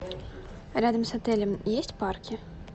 рядом с отелем есть парки